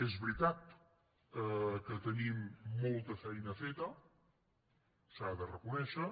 és veritat que tenim molta feina feta s’ha de reconèixer